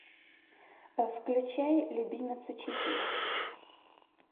включай любимец учителя